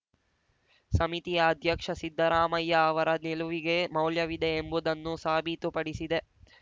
ಸಮಿತಿಯ ಅಧ್ಯಕ್ಷ ಸಿದ್ದರಾಮಯ್ಯ ಅವರ ನಿಲುವಿಗೆ ಮೌಲ್ಯವಿದೆ ಎಂಬುದನ್ನು ಸಾಬೀತುಪಡಿಸಿದೆ